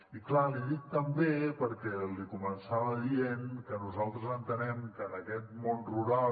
i clar l’hi dic també perquè li començava dient que nosaltres entenem que en aquest món rural